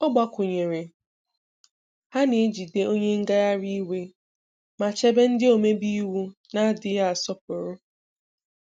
Ọ gbakwụnyere, 'Ha na-ejide onye ngagharị iwe ma chebe ndị omebe iwu na-adịghị asọpụrụ.